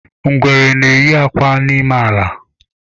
Ngwere na-eyi akwa n'ime ala.